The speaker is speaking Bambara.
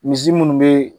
Misi minnu be